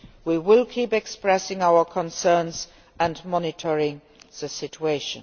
We will keep expressing our concerns and monitoring the situation.